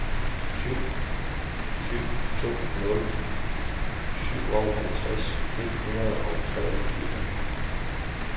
syv syv to nul syvoghalvtreds et hundrede og treogtyve